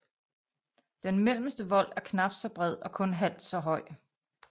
Den mellemste vold er knapt så bred og kun halvt så høj